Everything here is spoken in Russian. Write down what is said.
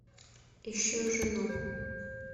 ищу жену